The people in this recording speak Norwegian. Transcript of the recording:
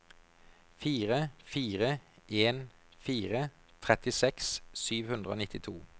fire fire en fire trettiseks sju hundre og nittito